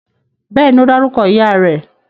Bẹ́ẹ̀ni, ó dárúkọ ìyá rẹ̀